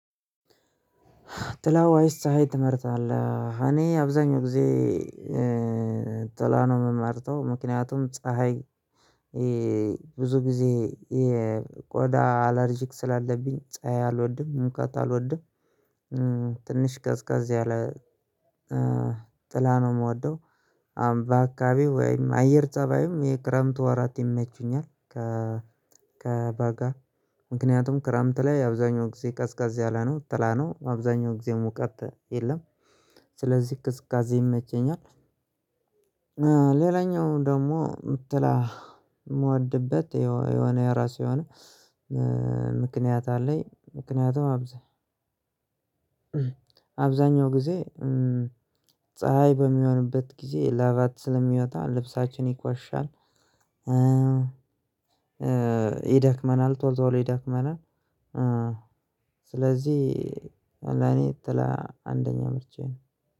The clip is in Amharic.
ጥላወ ይስ ፀሀይ ትመርጣለህ? እኔ አብዛኛው ጊዜ ጥላ ነው የምመርጠው ምክንያቱም ፀሀይ ብዙ ጊዜ የቆዳ አለርጂክ ስላለብኝ ፀሀይ አልወድም ሙቀት አልወድም ትንሽ ቀዝቃዝ ያለጥላ ነው የምወደው። አምባ አካባቢ ወይም አየር ፀባይም የክረምት ወራት ይመቹኛልከ። ከበጋ ምክንያቱም ክረምት ላይ አብዛኛው ጊዜ ቀዝቃዝ ያለ ነው ጥላ ነው አብዛኛው ጊዜ ሙቀት የለም። ስለዚህ ቅዝቃዜ ይመቸኛል። ሌላኛው ደግሞ ጥላ የምወድበት የሆነ የራሱ የሆነ ምክንያት አለኝ። ምክንያቱም አብዛኛው ጊዜ ፀሀይ በሚሆንበት ጊዜ ላባችን ስለሚወጣ ልብሳችን ይቆሽሻል ይደክመናል ቶሎቶሎ ይደክመናል። ስለዚህ ለኔ ጥላ አንደኛ ምርጫዬ ነው